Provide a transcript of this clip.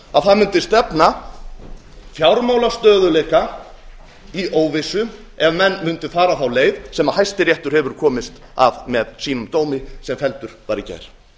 að það mundi stefna fjármálastöðugleika í óvissu ef menn mundu fara þá leið sem hæstiréttur hefur komist að með sínum dómi sem felldur var í gær